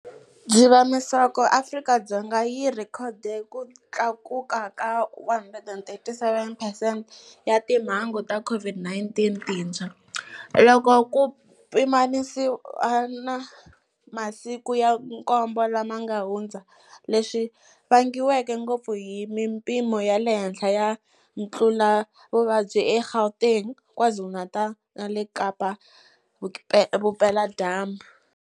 Dzivamisoko Afrika-Dzonga yi rhekhode ku tlakuka ka 137 percent ta timhangu ta COVID-19 tintshwa, loko ku pimanisiwa na masiku ya nkombo lama nga hundza, leswi vangiweke ngopfu hi mipimo ya le henhla ya ntluletavuvabyi eGauteng, KwaZulu-Natal na le Kapa-Vupeladyambu.